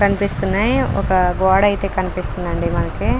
కనిపిస్తున్నాయి ఒక గోడ అయితే కనిపిస్తూ ఉందండి మనకు.